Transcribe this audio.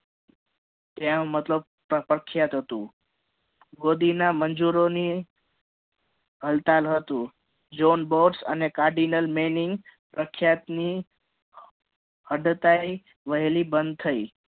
ત્યાં મતલબ પ્રખ્યાત હતું બોડીના મંજુરોની હડતાલ હતું john bots and kardilal manin પ્રખ્યાત હડતાલ વહેલી બંધ થઇ